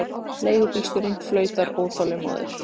Leigubílstjórinn flautar óþolinmóður.